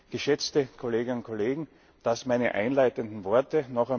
Geschätzte Kolleginnen und Kollegen, soweit meine einleitenden Worte.